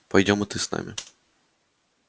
пойдём и ты с нами